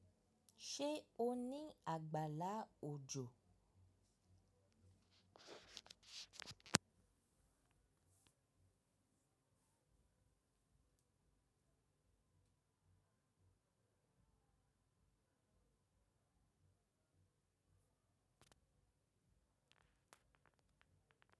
Ṣé o ní àgbàlá òjò?